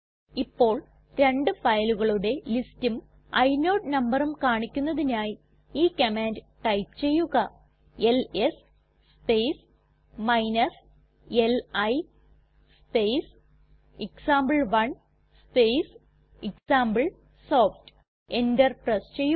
ഇപ്പോൾ രണ്ട് ഫയലുകളുടെ ലിസ്റ്റും ഇനോട് നമ്പറും കാണിക്കുന്നതിനായി ഈ കമാൻഡ് ടൈപ്പ് ചെയ്യുക L S space li space example one space example soft enter press ചെയ്യുക